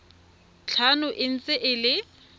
tlhano e ntse e le